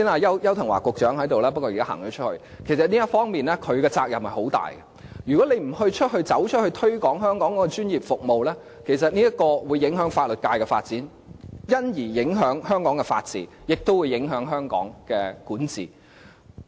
邱騰華局長剛才在席，不過現在已離開會議廳，但其實就這方面，他的責任亦很重大，如果他不對外界推廣香港的專業服務，將會影響法律界的發展，因而影響香港的法治，亦會影響香港的管治。